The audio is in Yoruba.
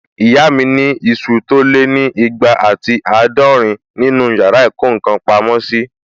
Ìyá mi ni isu tó lé ní ìgbà àti àádọ́rin nínu yàrá ìkó ǹkan pamọ́ sí